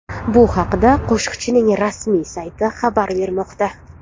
Bu haqda qo‘shiqchining rasmiy sayti xabar bermoqda .